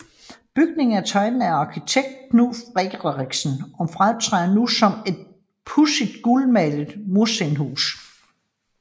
Bygningen er tegnet af arkitekt Knud Friderichsen og fremtræder nu som et pudset gulmalet murstenshus